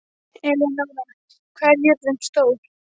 Elenóra, hvað er jörðin stór?